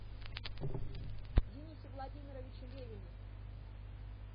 денисе владимировиче левине